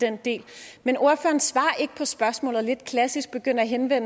den del men ordføreren svarer ikke på spørgsmålet og lidt klassisk begynder han at